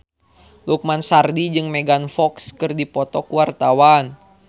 Lukman Sardi jeung Megan Fox keur dipoto ku wartawan